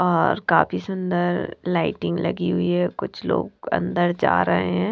और काफी सुंदर लाइटिंग लगी हुई है और कुछ लोग अंदर जा रहे हैं।